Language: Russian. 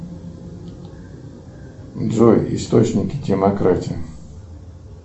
джой источники демократии